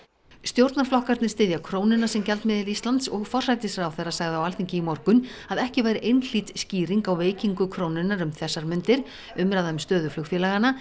stjórnarflokkarnir styðja krónuna sem gjaldmiðil Íslands og forsætisráðherra sagði á Alþingi í morgun að ekki væri einhlít skýring á veikingu krónunnar um þessar mundir umræða um stöðu flugfélaganna